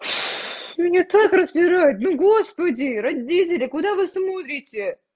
меня так распирает ну господи родители куда вы смотрите